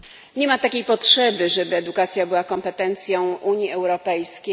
Nie ma takiej potrzeby, żeby edukacja była kompetencją Unii Europejskiej.